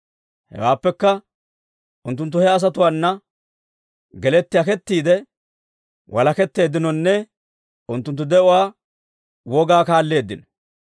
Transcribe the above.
Hewaappekka, unttunttu he asatuwaana geletti akkettiide, walaketteeddinonne; unttunttu de'uwaa wogaa kaalleeddino.